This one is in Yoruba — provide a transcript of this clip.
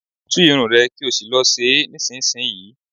Tú irun ẹ̀ kí ò sì lọ ṣe é nísinsìnyí!